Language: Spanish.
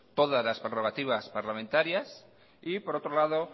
todas las prerrogativas parlamentarias y por otro lado